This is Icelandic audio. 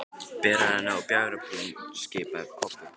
Berið hann upp á bjargbrún, skipaði Kobbi.